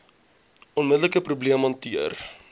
onmiddelike probleem hanteer